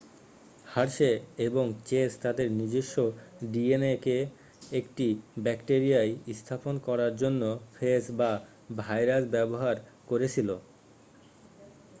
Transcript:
Hershey এবং Chase তাদের নিজস্ব ডিএনএকে একটি ব্যাকটিরিয়ায় স্থাপন করার জন্য ফেজ বা ভাইরাস ব্যবহার করেছিল